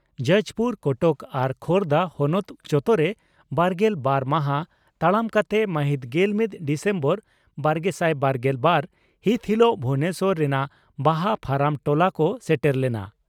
ᱡᱟᱡᱽᱯᱩᱨ ᱠᱚᱴᱚᱠ ᱟᱨ ᱠᱷᱳᱨᱫᱟ ᱦᱚᱱᱚᱛ ᱡᱚᱛᱚᱨᱮ ᱵᱟᱨᱜᱮᱞ ᱵᱟᱨ ᱢᱟᱦᱟ ᱛᱟᱲᱟᱢ ᱠᱟᱛᱮ ᱢᱟᱹᱦᱤᱛ ᱜᱮᱞᱢᱤᱛ ᱰᱤᱥᱮᱢᱵᱚᱨ ᱵᱟᱨᱜᱮᱥᱟᱭ ᱵᱟᱨᱜᱮᱞ ᱵᱟᱨ ᱦᱤᱛ ᱦᱤᱞᱚᱜ ᱵᱷᱩᱵᱚᱱᱮᱥᱚᱨ ᱨᱮᱱᱟᱜ ᱵᱟᱦᱟ ᱯᱷᱟᱨᱟᱢ ᱴᱚᱞᱟ ᱠᱚ ᱥᱮᱴᱮᱨ ᱞᱮᱱᱟ ᱾